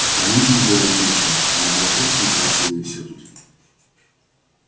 а про индию и говорить нечего она была просто некрасива и всё тут